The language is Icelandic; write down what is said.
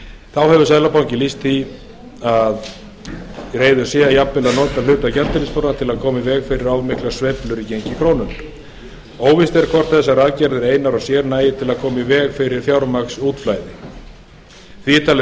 þá hefur seðlabankinn lýst því að hann sé tilbúinn að nota hluta gjaldeyrisforðans til að koma í veg fyrir of miklar sveiflur í gengi krónunnar óvíst er hvort þessar aðgerðir einar og sér nægi til að koma í veg fyrir fjármagnsútflæði því er talið